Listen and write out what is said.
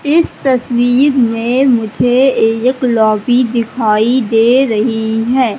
इस तस्वीर में मुझे एक लोबि दिखाई दे रही है।